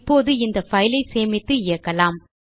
இப்போது இந்த fileஐ சேமித்து இயக்கலாம்